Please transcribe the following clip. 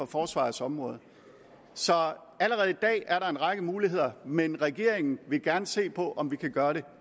forsvarets område så allerede i dag er der en række muligheder men regeringen vil gerne se på om vi kan gøre det